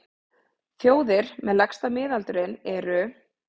Þjóðir með lægsta miðaldurinn eru: